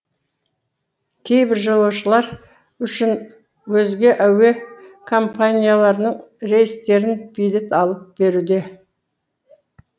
кейбір жолаушылар үшін өзге әуе компанияларының билет алып беруде